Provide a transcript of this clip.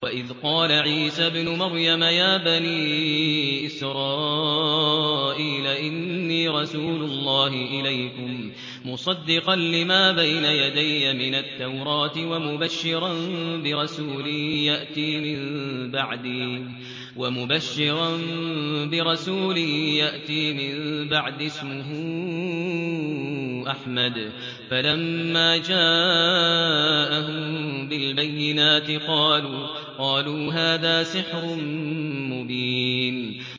وَإِذْ قَالَ عِيسَى ابْنُ مَرْيَمَ يَا بَنِي إِسْرَائِيلَ إِنِّي رَسُولُ اللَّهِ إِلَيْكُم مُّصَدِّقًا لِّمَا بَيْنَ يَدَيَّ مِنَ التَّوْرَاةِ وَمُبَشِّرًا بِرَسُولٍ يَأْتِي مِن بَعْدِي اسْمُهُ أَحْمَدُ ۖ فَلَمَّا جَاءَهُم بِالْبَيِّنَاتِ قَالُوا هَٰذَا سِحْرٌ مُّبِينٌ